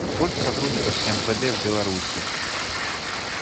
сколько сотрудников мвд в беларуси